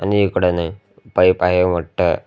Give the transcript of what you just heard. आणि इकड नाही पाईप आहे मोठं.